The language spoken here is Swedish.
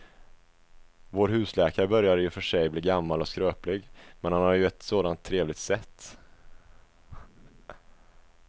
Vår husläkare börjar i och för sig bli gammal och skröplig, men han har ju ett sådant trevligt sätt!